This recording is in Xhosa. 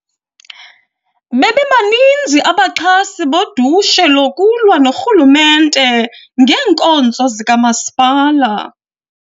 Bebebaninzi abaxhasi bodushe lokulwa norhulumente ngeenkonzo zikamasipala.